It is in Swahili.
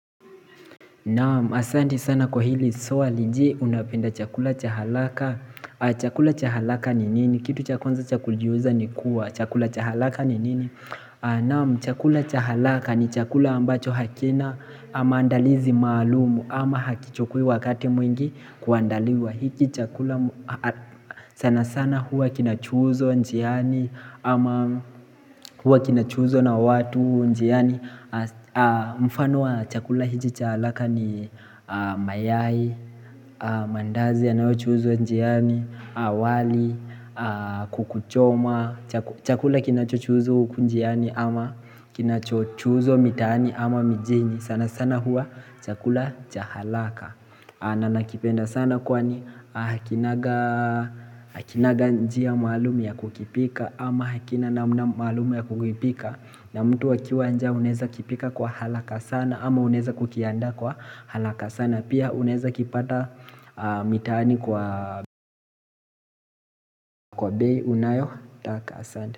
Naam asante sana kwa hili swali je unapenda chakula cha haraka Chakula cha haraka ni nini kitu cha kwanza cha kujiuliza ni kuwa chakula cha haraka ni nini Naam chakula cha haraka ni chakula ambacho hakina maandalizi maalumu ama hakichukui wakati mwingi kuandaliwa hiki chakula sana sana huwa kinachuuzwa njiani ama huwa kinachuuzwa na watu njiani mfano wa chakula hizi cha haraka ni mayai, mandazi yanayochuuzwa njiani, wali, kukuchoma Chakula kinachochuuzwa huku njiani ama kinachochuuzwa mitaani ama mijini sana sana huwa chakula cha haraka na nakipenda sana kwani hakinanga njia maalumu ya kukipika ama hakina namna maalumu ya kukipika na mtu akiwa njaa unaeza kipika kwa haraka sana ama unaeza kukianda kwa haraka sana Pia unaeza kipata mitaani kwa bei unayotaka asante.